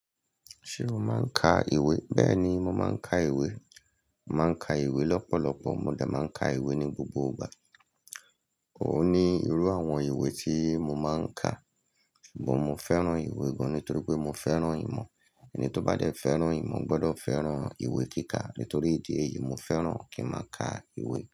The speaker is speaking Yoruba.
Ṣé o máa ń ka ìwé? Bẹ́ẹ̀ni, mo máa ń ka ìwé. Màá ń ka ìwé lọ́pọ̀lọpọ̀, mo dà máa ń ka ìwé ní gbogbo ìgbà. Òni irú àwọn ìwé tí mo máa ń ka. But, mo fẹ́ràn ìwé gan nítorí pé mo fẹ́ràn ìmọ̀. Ẹni tó bá fẹ́ràn ìmọ̀ gbọ́dọ̀ fẹ́ràn ìwé kíkà. Nítorí ìdí èyí, mo fẹ́ràn kí n máa ka ìwé.